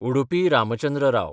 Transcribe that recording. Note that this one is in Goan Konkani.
उडुपी रामचंद्र राव